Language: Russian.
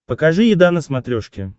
покажи еда на смотрешке